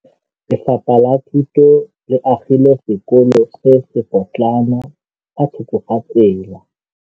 Lefapha la Thuto le agile sekôlô se se pôtlana fa thoko ga tsela.